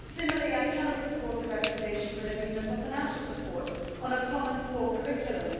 Similarly I cannot support the recommendation for an agreement for financial support on a common core curriculum.